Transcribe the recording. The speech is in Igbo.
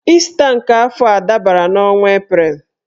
Ịsta nke afọ a dabara n'ọnwa Eprel